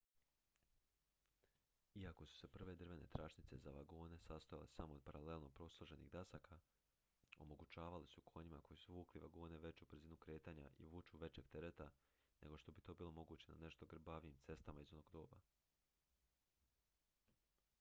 iako su se prve drvene tračnice za vagone sastojale samo od paralelno posloženih dasaka omogućavale su konjima koji su vukli vagone veću brzinu kretanja i vuču većeg tereta nego što bi to bilo moguće na nešto grbavijim cestama iz onog doba